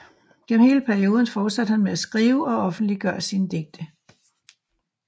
Gennem hele perioden fortsatte han med at skrive og offentliggøre sine digte